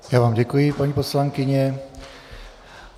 Já vám děkuji, paní poslankyně.